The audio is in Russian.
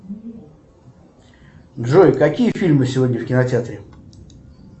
джой какие фильмы сегодня в кинотеатре